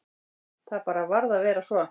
Það bara varð að vera svo.